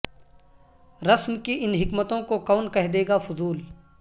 رسم کی ان حکمتوں کو کون کہہ دے گا فضول